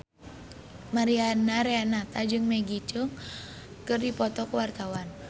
Mariana Renata jeung Maggie Cheung keur dipoto ku wartawan